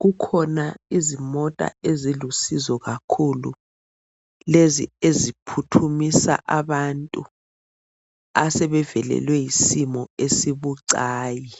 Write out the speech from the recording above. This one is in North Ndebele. kukhona izimota ezilusizo kakhulu lezi eziphuthumisa abantu asebevelelwe yisimo esibucayi.